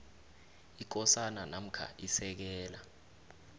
ikosana namkha isekela